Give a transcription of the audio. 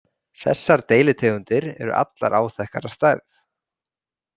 Þessar deilitegundir eru allar áþekkar að stærð.